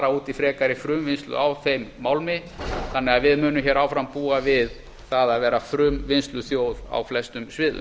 út í frekari frumvinnslu á þeim málmi þannig að við munum hér áfram búa við það að vera frumvinnsluþjóð á flestum sviðum